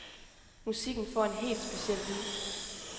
Musikken får en helt speciel lyd.